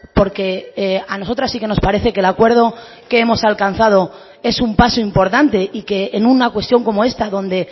porque a nosotras sí que nos parece que el acuerdo que hemos alcanzado es un paso importante y que en una cuestión como esta donde